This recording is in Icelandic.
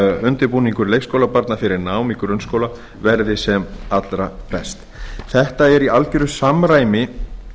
undirbúningur leikskólabarna fyrir nám í grunnskóla verði sem allra best þetta er í algjöru samræmi